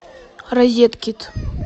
розеткед